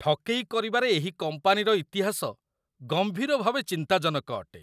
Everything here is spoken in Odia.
ଠକେଇ କରିବାରେ ଏହି କମ୍ପାନୀର ଇତିହାସ ଗମ୍ଭୀର ଭାବେ ଚିନ୍ତାଜନକ ଅଟେ।